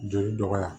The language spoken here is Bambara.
Joli dɔgɔya